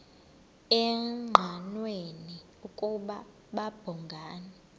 engqanweni ukuba babhungani